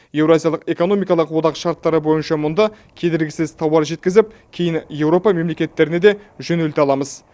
еуроазиялық экономикалық одақ шарттары бойынша мұнда кедергісіз тауар жеткізіп кейін еуропа мемлекеттеріне де жөнелте аламыз